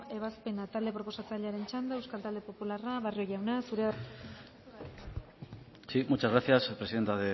ebazpena talde proposatzailearen txanda euskal talde popularra barrio jauna zurea da hitza ekimena aurkeztu eta defendatzeko sí muchas gracias presidenta